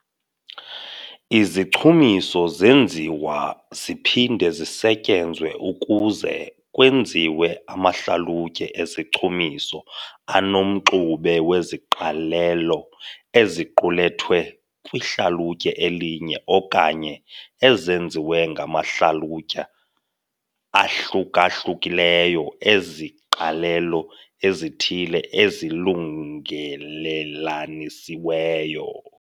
Izichumiso zenziwa ziphinde zisetyenzwe ukuze kwenziwe amahlalutye ezichumiso anomxube weziqalelo eziqulethwe kwihlalutye elinye okanye ezenziwe ngamahlalutye ahluka-hlukileyo eziqalelo ezithile ezilungelelanisiweyo.